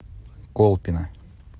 колпино